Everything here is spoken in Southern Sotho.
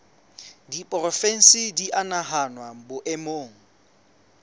diporofensi di a nahanwa boemong